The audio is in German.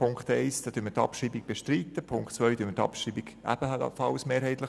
Die Abschreibung der Punkte 1 und 2 bestreiten wir mehrheitlich.